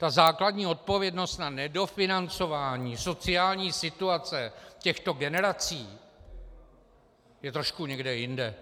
Ta základní odpovědnost na nedofinancování sociální situace těchto generací je trošku někde jinde.